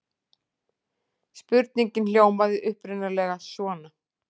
Spurningin hljómaði upprunalega svona: